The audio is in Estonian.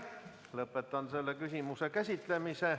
Lõpetan selle küsimuse käsitlemise.